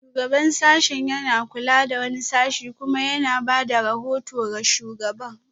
Shugaban sashen yana kula da wani sashe kuma yana ba da rahoto ga shugaban